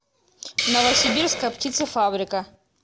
новосибирская птицефабрика